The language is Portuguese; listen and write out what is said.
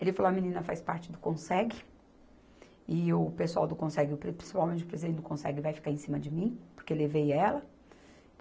Ele falou, a menina faz parte do Conseg, e o pessoal do Conseg, principalmente o presidente do Conseg vai ficar em cima de mim, porque levei ela.